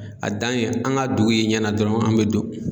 A dan ye an ka dugu ye ɲɛna dɔrɔn an mɛ don